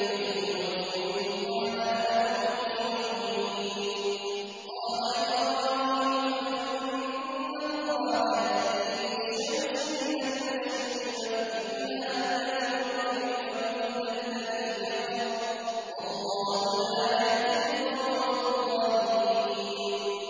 الَّذِي يُحْيِي وَيُمِيتُ قَالَ أَنَا أُحْيِي وَأُمِيتُ ۖ قَالَ إِبْرَاهِيمُ فَإِنَّ اللَّهَ يَأْتِي بِالشَّمْسِ مِنَ الْمَشْرِقِ فَأْتِ بِهَا مِنَ الْمَغْرِبِ فَبُهِتَ الَّذِي كَفَرَ ۗ وَاللَّهُ لَا يَهْدِي الْقَوْمَ الظَّالِمِينَ